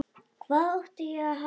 Hvað átti ég að halda?